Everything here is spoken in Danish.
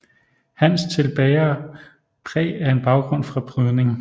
Hans til bærer præg af en baggrund fra brydning